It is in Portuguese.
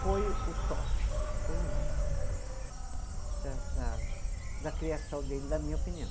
Foi o top, foi o máximo, Da da, da criação dele, na minha opinião.